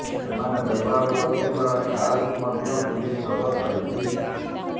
ସେମାନେ ବ୍ୟବହାର କରୁଥିବା କାର୍କୁ ମଧ୍ୟ ପୁଲିସ ଜବତ କରିଛି